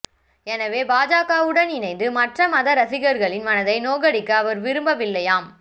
எனவே பாஜகவுடன் இணைந்து மற்ற மத ரசிகர்களின் மனதை நோகடிக்க அவர் விரும்பவில்லையாம்